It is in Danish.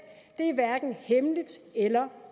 det er hverken hemmeligt eller